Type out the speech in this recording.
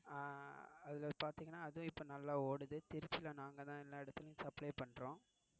அதுல பாத்தீங்கன்னா அது இப்ப நல்லா ஓடுது. திருச்சி ல நாங்க தான் எல்லாம் இடத்திலும் supply பண்றோம்.